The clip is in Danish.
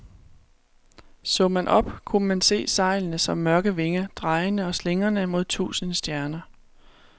Så man op, kunne man se sejlene som mørke vinger, drejende og slingrende mod tusinde stjerner.